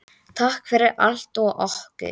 Takk fyrir allt og okkur.